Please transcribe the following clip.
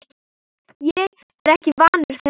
Ég er ekki vanur þessu.